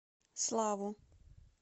славу